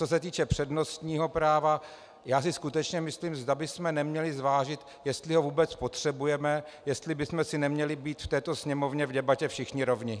Co se týče přednostního práva, já si skutečně myslím, zda bychom neměli zvážit, jestli ho vůbec potřebujeme, jestli bychom si neměli být v této Sněmovně v debatě všichni rovni.